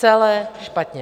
Celé špatně!